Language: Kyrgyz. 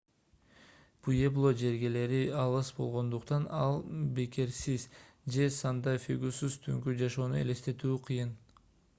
пуэбло жергелери алыс болгондуктан альбукеркесиз же санта-фегусуз түнкү жашоону элестетүү кыйын